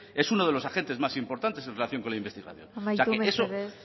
es uno de los agentes más importantes en relación con la investigación o sea eso amaitu mesedez